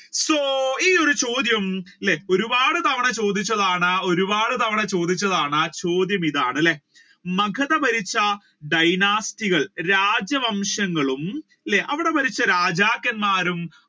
So ഈ ഒരു ചോദ്യം ഒരുപാട് തവണ ചോദിച്ചതാണ് ഒരുപാട് തവണ ചോദിച്ചതാണ് ചോദ്യമിതാണ് അല്ലെ മഗധ ഭരിച്ച dynasty കൾ രാജ്യവംശങ്ങളും അല്ലെ അവിടെ ഭരിച്ച രാജാക്കന്മാരും